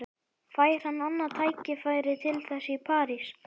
Fær hann annað tækifæri til þess í París?